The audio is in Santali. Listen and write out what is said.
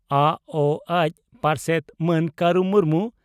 ᱟᱹᱚᱹᱡᱹ ᱯᱟᱨᱥᱮᱛ ᱢᱟᱱ ᱠᱟᱨᱩ ᱢᱩᱨᱢᱩ